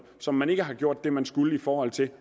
som man ikke har gjort det man skulle i forhold til